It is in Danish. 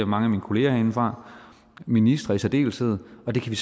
mange af mine kolleger herindefra ministre i særdeleshed og det kan vi